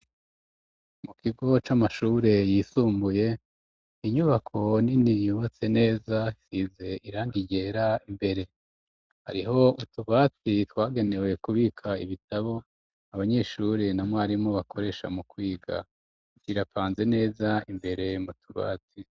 Mu kigo c'amashure yisumbuye ,inyubako nini yubatse neza isize irangi ryera imbere, hariho utubati twagenewe kubika ibitabo abanyeshuri na mwarimu bakoresha mu kwiga, kirapanze neza imbere mu tubati.